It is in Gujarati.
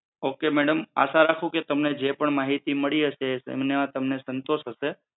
ઓકે મેડમ આશા રાખું છું કે તમને જે પણ માહિતી મળી હશે તેમનો આ સન્તોષ હશે.